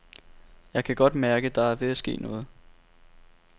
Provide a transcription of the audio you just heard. Jeg kan godt mærke, der er ved at ske noget.